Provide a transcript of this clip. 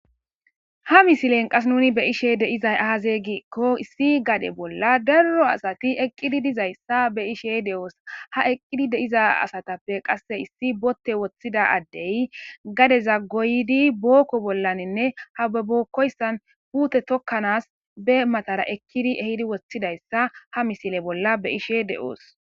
Ha misilen qas nuni be ishe deizay ahazeeygiekko issi gade bolla darro asati eqqidi dizayssa be ishe de7oos ha eqqidi deiza asatappe qasse issi botte woththida addey gade za goydi bookko bollaninne hababokkoyssan puute tokkanas be matara ekkidi ehidi wothidayssa ha misile bolla be ishe de7oos.